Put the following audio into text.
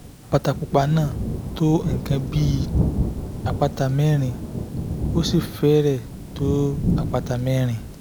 àpáta pupa náà tó nǹkan bí àpáta mẹ́rin ó sì fẹ́rẹ̀ẹ́ tó àpáta mẹ́rin